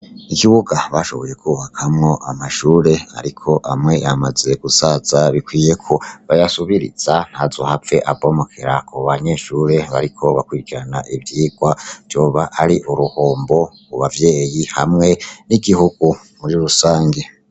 Ikibuga bashoboye kubakamwo amashure ariko amwe amaze gusaza, bikwiyeko bayasubiriza ntazohave abomokera ku banyeshure bariko bakurikirana ivyigwa, vyoba ari uruhombo ku bavyeyi hamwe n'Igihugu muri rusangi.